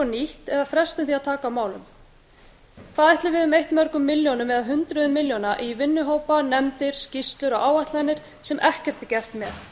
ný eða frestum því að taka á málum hvað ætli við höfum eytt mörgum milljónum eða hundruðum milljóna í vinnuhópa nefndir skýrslur og áætlanir sem ekkert er gert með